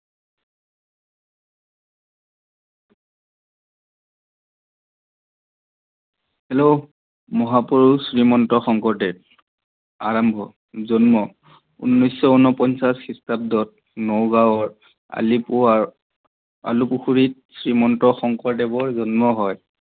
Hello মহাপূৰুষ শ্ৰীমন্ত শংকৰদেৱ, আৰম্ভনি, জন্ম চৈধ্যশ ঊণপঞ্চাছ খ্ৰীষ্টাব্দত নগাৱৰ আলিপুখুৰীত শ্ৰীমন্ত শংকৰদেৱ জন্ম হয়।